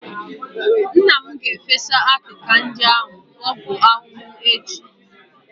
Nna m ga-efesa akịka ndị ahụ ọgwụ ahụhụ echi.